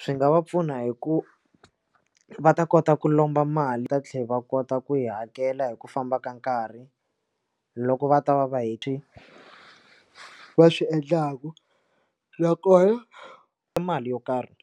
Swi nga va pfuna hi ku va ta kota ku lomba mali ta tlhela va kota ku yi hakela hi ku famba ka nkarhi loko va ta va va hiti ka a swi endlaka nakona i mali yo karhi